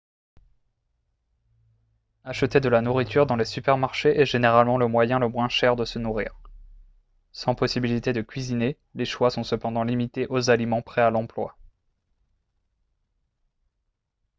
acheter de la nourriture dans les supermarchés est généralement le moyen le moins cher de se nourrir sans possibilité de cuisiner les choix sont cependant limités aux aliments prêts à l'emploi